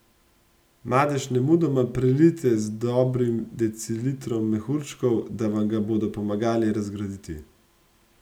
Madež nemudoma prelijte z dobrim decilitrom mehurčkov, da vam ga bodo pomagali razgraditi.